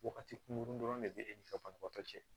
Wagati kunkurunin dɔrɔn de bɛ e n'i ka banabaatɔ cɛ